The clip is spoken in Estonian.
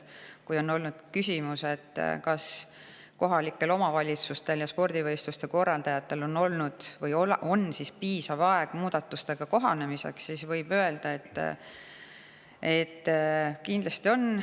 Kui on olnud küsimus, kas kohalikel omavalitsustel ja spordivõistluste korraldajatel on olnud või on piisav aeg muudatustega kohanemiseks, siis võib öelda, et kindlasti on.